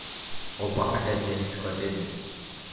опа ходячая энциклопедия